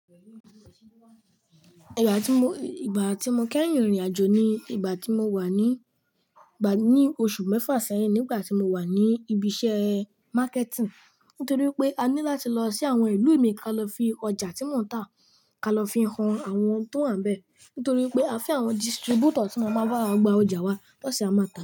Ìgbà tí mo, ìgbà tí mo kẹ́yìn rìnrìn àjò ni ìgbà tí mo wà ní, ìgbà ní oṣù mẹ́fà sẹ́yìn nígbà tí mo wà ní ibi iṣẹ́ marketing. Nítorí pé a ní láti lọ sí àwọn ìlú ìmíì ká lọ fi ọjà tí mò ń tà, ká lọ fi han àwọn tó wà ńbẹ. Nítorí pé a fẹ́ àwọn distributor tí màá máa bá wa gba ọjà wa tọ́sẹ̀ amáta.